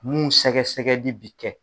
Mun sɛgɛsɛgɛli bi kɛ.